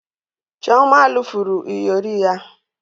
Chioma lufuru iyori ya